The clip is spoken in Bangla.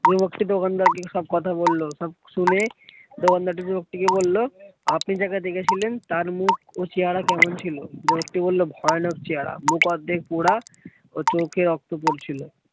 যুবকটি দোকানদারকে সব কথা বললো সব শুনে দোকানদারটি যুবকটিকে বললো আপনি যাকে দেখেছিলেন তার মুখ ও চেহারা কেমন ছিল? যুবকটি বললেন ভয়ানক চেহারা মুখ অর্ধেক পড়া ও চোখে রক্ত পড়ছিল।